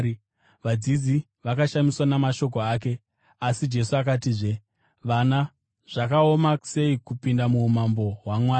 Vadzidzi vakashamiswa namashoko ake. Asi Jesu akatizve, “Vana, zvakaoma sei kupinda muumambo hwaMwari!